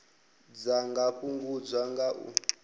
dza nga fhungudzwa nga u